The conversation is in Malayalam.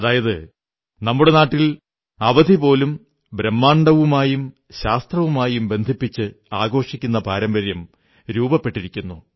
അതായത് നമ്മുടെ നാട്ടിൽ അവധി പോലും ബ്രഹ്മാണ്ഡവുമായും ശാസ്ത്രവുമായും ബന്ധിപ്പിച്ച് ആഘോഷിക്കുന്ന പരമ്പര്യം രൂപപ്പെട്ടിരുന്നു